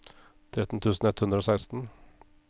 tretten tusen ett hundre og seksten